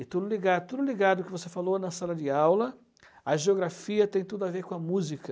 E tudo ligado e tudo ligado ao que você falou na sala de aula, a geografia tem tudo a ver com a música.